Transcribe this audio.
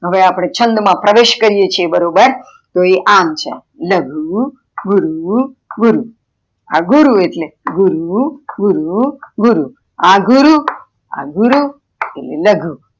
હવે અપડે છંદ માં પ્રવેશ કરીએ છીએ બરોબર તો એ આમ છે લાગુ ગુરુ ગુરુ, આ ગુરુ એટલે ગુરુ ગુરુ ગુરુ આ ગુરુ આ ગુરુ ને લઘુ